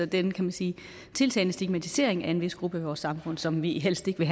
den kan man sige tiltagende stigmatisering af en vis gruppe i vores samfund som vi helst vil